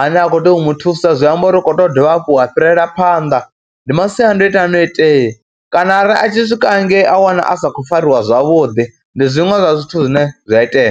ane a khou tea u mu thusa, zwi amba uri u khou tea u dovha hafhu ha fhirela phanḓa. Ndi masiandoitwa ane a itea kana a ri a tshi swika hangei a wana a sa khou fariwa zwavhuḓi, ndi zwiṅwe zwa zwithu zwine zwi a itea.